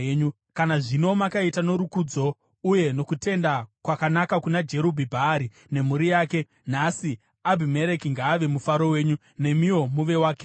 kana zvino makaita norukudzo uye nokutenda kwakanaka kuna Jerubhi-Bhaari nemhuri yake, nhasi Abhimereki ngaave mufaro wenyu, nemiwo muve wakewo!